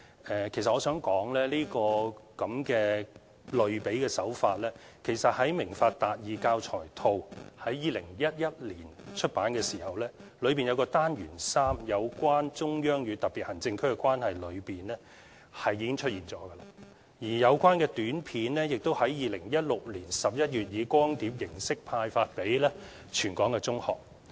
其實我想指出，這種類比手法，在2011年出版的"明法達義"教材套，單元3有關"中央與香港特別行政區的關係"中已經出現，另外有關短片也在2016年11月以光碟形式派發給全港中學。